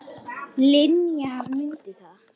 Linja, mundu það.